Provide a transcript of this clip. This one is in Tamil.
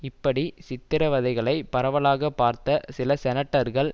இப்படி சித்திரவதைகளை பரவலாக பார்த்த சில செனட்டர்கள்